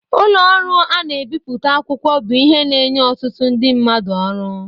ụlọ ọrụ ana ebipụta akwụkwọ bụ ihe na enye ọtụtụ ndị mmadụ ọrụ.